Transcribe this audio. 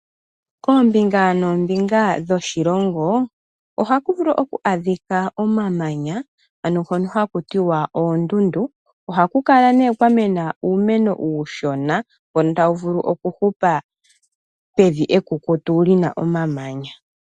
Koombinga noombinga dhoshilongo ohaku vulu oku adhika omamanya ano ngono hakutiwa oondundu. Ohaku kala nee kwamena uumeno uushona mbono tawu vulu oku hupa pevi ekukutu lina omamanya.